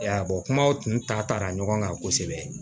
Ya kumaw tun ta taara ɲɔgɔn kan kosɛbɛ